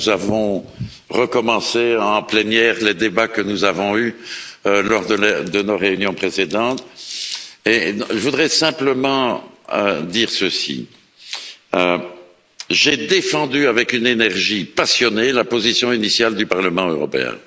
Nous avons recommencé en plénière les débats que nous avons eus lors de nos réunions précédentes et je voudrais simplement dire que j'ai défendu avec une énergie passionnée la position initiale du Parlement européen.